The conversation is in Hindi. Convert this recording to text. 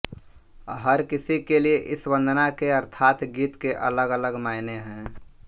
हर किसी के लिए इस वंदना के अर्थात गीत के अलगअलग मायने हैं